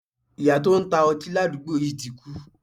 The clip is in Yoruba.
Iyá to n ta oti ladugbo yi ti kú